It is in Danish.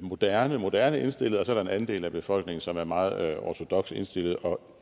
moderne moderne indstillet og så er der en anden del af befolkningen som er meget ortodokst indstillet og